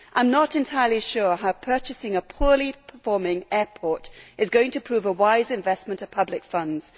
I am not entirely sure how purchasing a poorly performing airport is going to prove a wise investment of public funds.